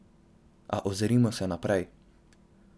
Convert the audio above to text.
A ozrimo se naprej.